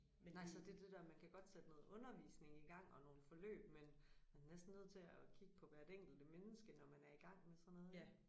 Nej så det det der man kan godt sætte noget undervisning igang og nogle forløb men man er næsten nødt til at kigge på hvert enkelt menneske når man er igang med sådan noget ik